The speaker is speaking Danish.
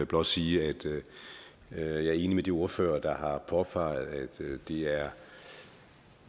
blot sige at jeg er enig med de ordførere der har påpeget at det er